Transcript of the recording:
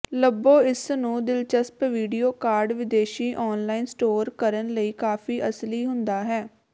ਲੱਭੋ ਇਸ ਨੂੰ ਦਿਲਚਸਪ ਵੀਡੀਓ ਕਾਰਡ ਵਿਦੇਸ਼ੀ ਆਨਲਾਈਨ ਸਟੋਰ ਕਰਨ ਲਈ ਕਾਫ਼ੀ ਅਸਲੀ ਹੁੰਦਾ ਹੈ